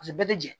Paseke bɛɛ bɛ jɛn